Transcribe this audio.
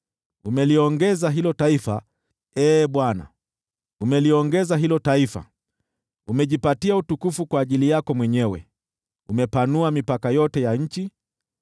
Umeliongeza hilo taifa, Ee Bwana , umeliongeza hilo taifa. Umejipatia utukufu kwa ajili yako mwenyewe, umepanua mipaka yote ya nchi.